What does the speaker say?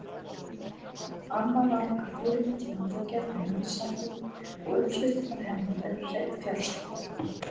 Amma var okkar fyrirmynd í matargerð og heimilishaldi og uppskriftirnar hennar eru hreinn fjársjóður.